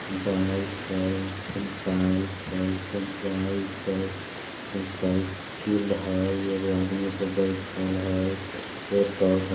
बाइक हई फेन पाइप हई फेन बाइक हई फेन सयकिल हई एगो आदमी ऊपर बइठल हई फेर पौधा--